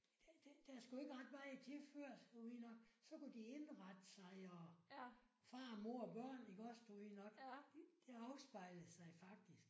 Der der der skulle ikke ret meget til før at du ved nok så kunne de indrette sig og far og mor og børn iggås du ved nok. Det afspejlede sig faktisk